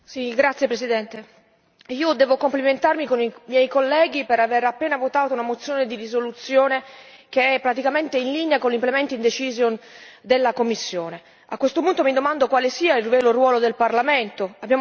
Signor Presidente, onorevoli colleghi, devo complimentarmi con i miei colleghi per aver appena votato una proposta di risoluzione che è praticamente in linea con l'implementing decision della Commissione. A questo punto mi domando quale sia il vero ruolo del Parlamento.